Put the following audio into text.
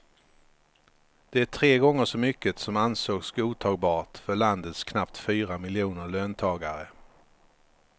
Det är tre gånger så mycket som ansågs godtagbart för landets knappt fyra miljoner löntagare.